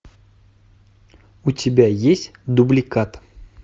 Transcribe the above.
у тебя есть дубликат